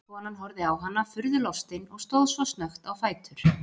Konan horfði á hana furðu lostin og stóð svo snöggt á fætur.